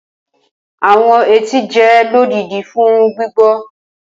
Awọn etí jẹ lodidi fun gbigbọ.